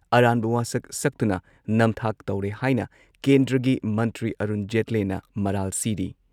ꯑꯔꯥꯟꯕ ꯋꯥꯁꯛ ꯁꯛꯇꯨꯅ ꯅꯝꯊꯥꯛ ꯇꯧꯔꯦ ꯍꯥꯏꯅ ꯀꯦꯟꯗ꯭ꯔꯒꯤ ꯃꯟꯇ꯭ꯔꯤ ꯑꯔꯨꯟ ꯖꯦꯠꯂꯦꯅ ꯃꯔꯥꯜ ꯁꯤꯔꯤ